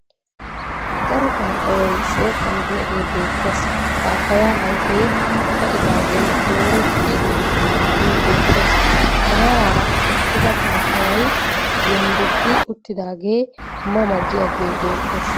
Daro papayayi shooqan diyagee beettes. Paappayaa ayfee ka'idaagee dooretti uttiidaagee beettes. Maaraara eqqida paappayayi yonddoddi uttiidaagee ma ma giyagee beettes.